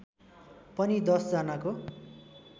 पनि १० जनाको